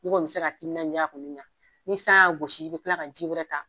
E kɔni be se ka timinaja k'olu ɲa ni san y'a gossi i be kila ka ji wɛrɛ ta